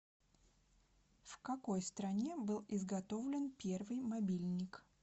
в какой стране был изготовлен первый мобильник